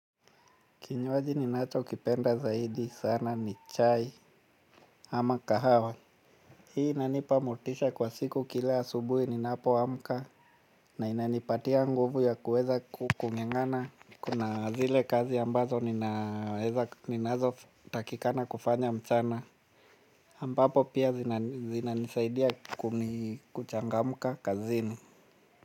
Kinywaji ninacho kipenda zaidi sana ni chai ama kahawa. Hii inanipa motisha kwa siku kila asubuhi ninapoamka. Na inanipatia nguvu ya kuweza kunga'nga'na. Kuna zile kazi ambazo ninazo takikana kufanya mchana ambapo pia zinanisaidia kuchangamka kazini.